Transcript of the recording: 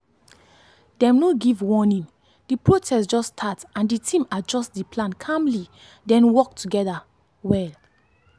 dem no give warning the protest just start and the team adjust the plan calmly then work together well.